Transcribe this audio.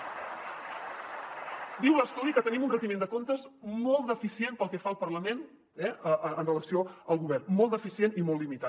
diu l’estudi que tenim un retiment de comptes molt deficient pel que fa al parlament eh amb relació al govern molt deficient i molt limitat